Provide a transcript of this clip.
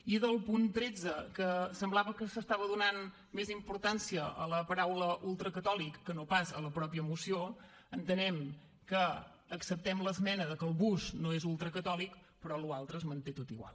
i del punt tretze que semblava que s’estava donant més importància a la paraula ultracatòlic que no pas a la mateixa moció entenem que acceptem l’esmena de que el bus no és ultracatòlic però la resta es manté tot igual